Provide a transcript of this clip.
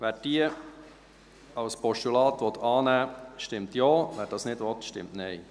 Wer diese als Postulat annehmen will, stimmt Ja, wer das nicht will, stimmt Nein.